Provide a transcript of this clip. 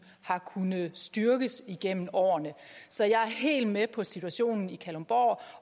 har kunnet styrkes igennem årene så jeg er helt med på situationen i kalundborg